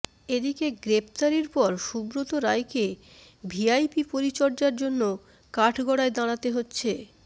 এদিকে গ্রেফতারির পর সুব্রত রায়কে ভিআইপি পরিচর্যার জন্য কাঠগড়ায় দাঁড়াতে হচ্ছে